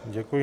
Děkuji.